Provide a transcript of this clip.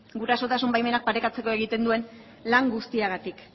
gurasotasun baimenak parekatzeko egiten duen lan guztiagatik